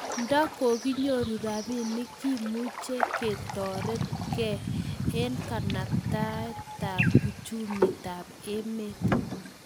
nda kokinyoru robinik ki muketoret ke kanabta uchumitab emet